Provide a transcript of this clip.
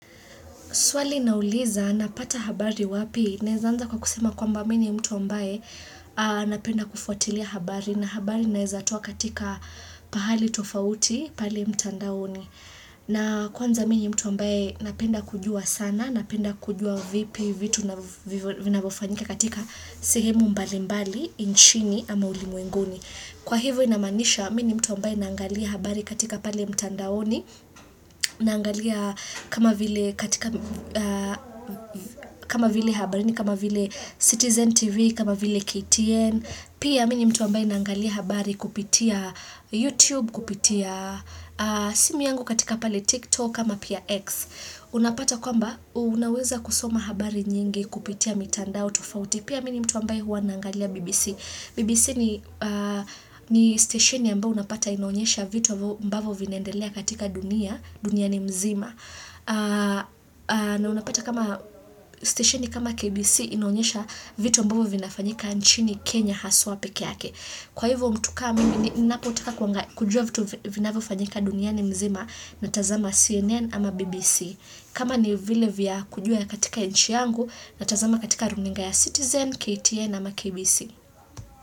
Swali nauliza, napata habari wapi, naezanza kwa kusema kwamba mimi mtu ambaye napenda kufuatilia habari na habari naezatoa katika pahali tofauti, pali mtandaoni. Na kwanza mi ni mtu ambaye napenda kujua sana, napenda kujua vipi, vitu na vinavofanyika katika sehemu mbali mbali, inchini ama ulimwenguni. Kwa hivyo inamaanisha, mi ni mtu ambae naangalia habari katika pale mtandaoni, naangalia kama vile citizen tv, kama vile ktn, pia mi ni mtu ambae naangalia habari kupitia youtube, kupitia simu yangu katika pale tiktok ama pia x, unapata kwamba unaweza kusoma habari nyingi kupitia mitandao tufauti, pia mi ni mtu ambae huwa naangalia BBC. BBC ni stesheni ambao unapata inaonyesha vitu ambavo vinaendelea katika dunia, duniani mzima. Na unapata kama stesheni kama KBC inaonyesha vitu ambavo vinafanyika nchini Kenya haswa peke yake. Kwa hivyo mtu ka mi ni napotaka kujua vitu vinavyofanyika dunia ni mzima natazama CNN ama BBC. Kama ni vile vya kujua katika nchi yangu natazama katika runinga ya Citizen, KTN ama KBC.